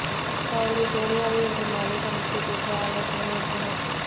அவர்கள் சோனியாவை இன்று மாலை சந்தித்துப் பேசி ஆலோசனை நடத்தினர்